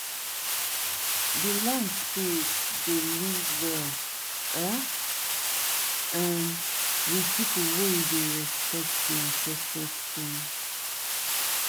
di land spirit dey live well um um with people wey dey respect di ancestor stone.